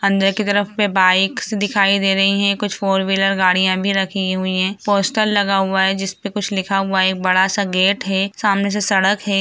अंदर की तरफ पे बाइक्‍स दिखाई दे रही हैं कुछ फोर व्हीलर गड़ियां भी रखी हुई हैं पोस्टर लगा हुआ है जिसपे कुछ लिखा हुआ है एक बड़ा-सा गेट है सामने से सड़क है।